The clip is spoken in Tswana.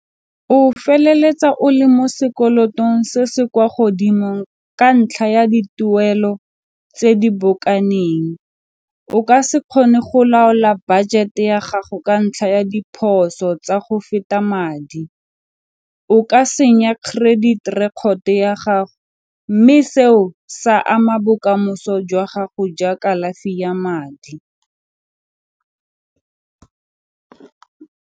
O feleletsa o le mo se kolotong se se kwa godimong ka ntlha ya dituelo tse di bokaneng. O ka se kgone go laola budget-e ya gago ka ntlha ya diphoso tsa go feta madi, o ka senya credit record ya gago mme seo sa ama bokamoso jwa gago jwa kalafi ya madi.